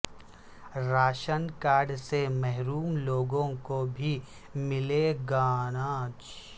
ration card سے محروم لوگوں کو بھی ملے گااناج